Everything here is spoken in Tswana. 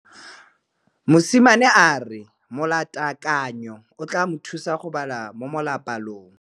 Mosimane a re molatekanyô o tla mo thusa go bala mo molapalong.